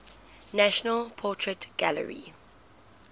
national portrait gallery